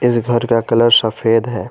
इस घर का कलर सफेद है।